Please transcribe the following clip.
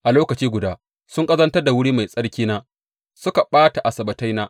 A lokaci guda sun ƙazantar da wuri mai tsarkina suka ɓata Asabbataina.